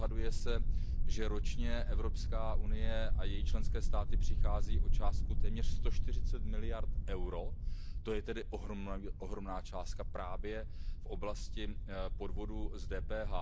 Odhaduje se, že ročně Evropská unie a její členské státy přichází o částku téměř sto čtyřicet miliard eur, to je tedy ohromná částka, právě v oblasti podvodů s DPH.